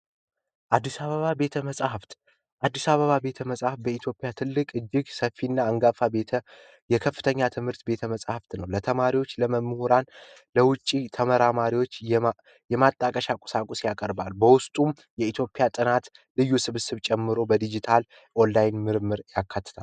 አዲስ አበባ ቤተ መጽሐፍት አዲስ አበባ ቤተመፃፍት በኢትዮጵያ ትልቁ እጅግ ሰፊና አንጋፋ የከፍተኛ ትምህርት ቤተመፃፍትን ለተማሪዎች ለመምህራን ለውጭ ተመራማሪዎች የመጠቀሻ ቁሳቁስ ያቀርባል በውስጡ የኢትዮጵያን ጨምሮ ልዩ ልዩ ጥናት በድጂታል ኦላይን ምርምር ያካትታል።